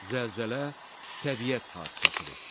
Zəlzələ təbiət hadisəsidir.